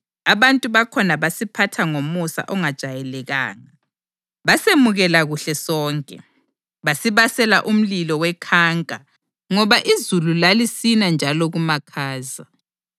Abantu bakhona basiphatha ngomusa ongajayelekanga. Basemukela kuhle sonke, basibasela umlilo wekhanka ngoba izulu lalisina njalo kumakhaza.